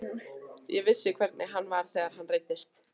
Ég vissi hvernig hann var þegar hann reiddist.